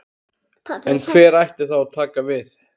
En hver ætti þá að taka við?